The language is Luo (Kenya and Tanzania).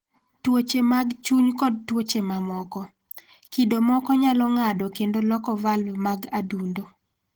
Tuoche mag Chuny kod Tuoche Mamoko Kido moko nyalo ng'ado kendo loko valv mag adundo.